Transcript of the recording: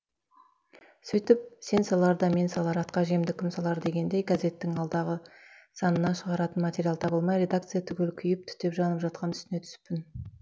сөйтіп сен салар да мен салар атқа жемді кім салар дегендей газеттің алдағы санына шығаратын материал табылмай редакция түгел күйіп түтеп жанып жатқан үстіне түсіппін